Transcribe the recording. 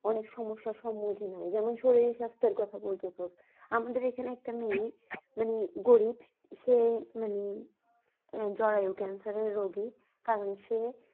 অনেক সমস্যার সম্মুখীন হয় যেমন শরীর সাস্থের কথা বলত তো। আমাদের এখানে একটা মেয়ে মানে গরীব সে মানে জরায়ু cancer এর রোগী কারণ সে।